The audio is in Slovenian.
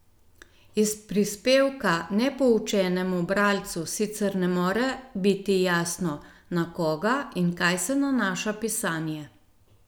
Iz prispevka nepoučenemu bralcu sicer ne more biti jasno, na koga in kaj se nanaša pisanje.